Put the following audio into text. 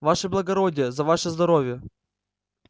ваше благородие за ваше здоровье